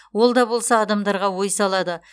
ол да болса адамдарға ой салады